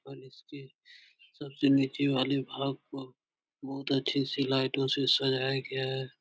और इसके सबसे नीचे वाले भाग को बहुत अच्छे से लाईटो से सजाया गया है।